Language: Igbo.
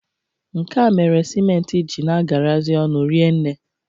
Nke a mere siment ji na-agarazị ọnụ rienne.